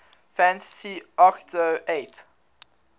fantasy agito xiii